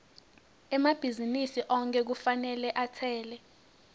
emabhizinisi onkhe kufanele atsele